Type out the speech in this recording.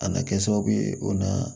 A nana kɛ sababu ye o na